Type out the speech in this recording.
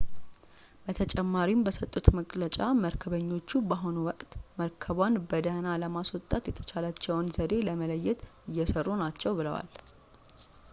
በተጨማሪም በሰጡት መግለጫ መርከበኞቹ በአሁኑ ወቅት መርከቧን በደህና ለማስወጣት የተሻለውን ዘዴ ለመለየት እየሰሩ ናቸው ብለዋል